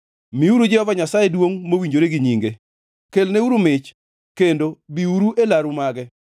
Miuru Jehova Nyasaye duongʼ mowinjore gi nyinge; kelneuru mich kendo biuru e laru mage.